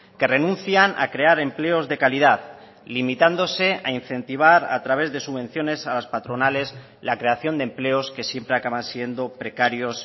que renuncian a crear empleos de calidad limitándose a incentivar a través de subvenciones a las patronales la creación de empleos que siempre acaban siendo precarios